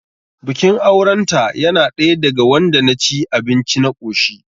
Bikin auren ta yana ɗaya daga wanda na ci abinci na koshi